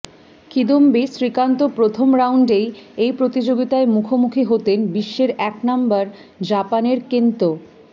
কিদম্বি শ্রীকান্ত প্রথম রাউন্ডেই এই প্রতিযোগিতায় মুখোমুখি হতেন বিশ্বের এক নম্বর জাপানের কেন্তো